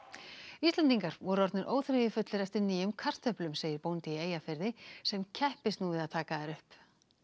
Íslendingar voru orðnir óþreyjufullir eftir nýjum kartöflum segir bóndi í Eyjafirði sem keppist nú við að taka þær upp